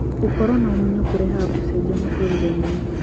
Gũkoro na ũmenyo kũrehaga kũcenjia mũtũrĩre-inĩ.